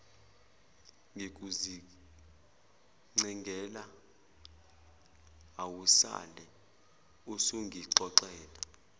ngikuzincengela awusale usungixolela